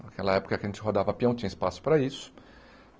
Naquela época que a gente rodava peão, tinha espaço para isso.